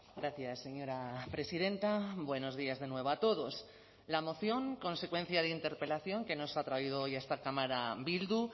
gracias señora presidenta buenos días de nuevo a todos la moción consecuencia de interpelación que nos ha traído hoy a esta cámara bildu